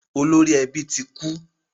Olori ẹbí tí kú